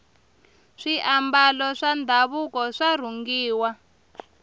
swiambalo swa ndhavuko swa rhungiwa